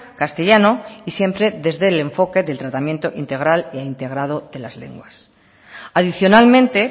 castellano y siempre desde el enfoque del tratamiento integral e integrado de las lenguas adicionalmente